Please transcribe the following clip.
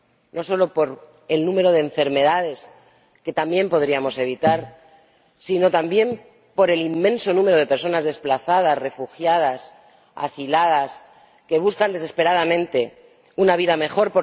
no solo por el número de enfermedades, que también podríamos evitar, sino también por el inmenso número de personas desplazadas, refugiadas, asiladas, que buscan desesperadamente una vida mejor.